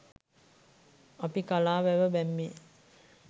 අපි කලා වැව බැම්මේ